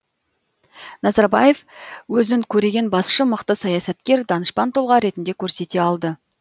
назарбаев өзін көреген басшы мықты саясаткер данышпан тұлға ретінде көрсете алды